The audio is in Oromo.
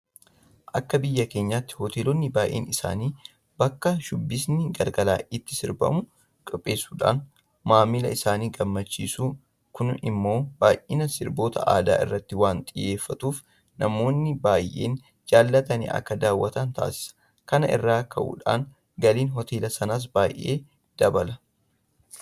Akka biyya keenyaatti Hoteelonni baay'een isaanii bakka shubbisni galgala itti sirbamu qopheessuudhaan maamila isaanii gammachiisu. Kun immoo baay'inaan sirboota aadaa irratti waanta xiyyeeffatuuf namoonni baay'een jaalatanii akka daawwatan taasisa. Kana irraa ka'uudhaan galiin Hoteela sanaas baay'ee dabala.